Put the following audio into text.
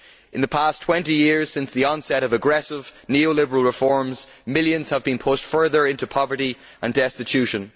In the past 20 years since the onset of aggressive neo liberal reforms, millions have been pushed further into poverty and destitution.